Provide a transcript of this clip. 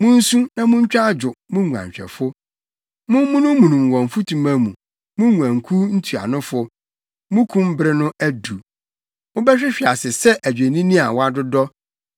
Munsu na muntwa adwo, mo nguanhwɛfo; mommunummunum wɔ mfutuma mu, mo nguankuw ntuanofo. Mo kum bere no adu; mobɛhwehwe ase sɛ adwennini a wɔadodɔ.